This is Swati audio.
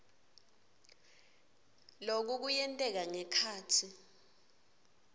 loku kuyenteka ngekhatsi